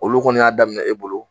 Olu kɔni y'a daminɛ e bolo